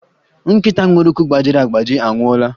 Nkịta nwere ụkwụ gbajiri agbaji anwụọla